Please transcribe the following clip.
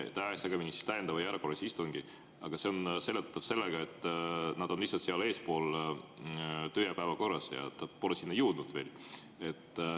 Ta ajas segamini täiendava ja erakorralise istungi, aga see on seletatav sellega, et nad on seal töö‑ ja korras lihtsalt eespool ja ta pole sinna veel jõudnud.